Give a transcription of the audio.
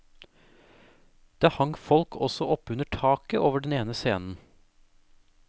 Det hang folk også oppunder taket over den ene scenen.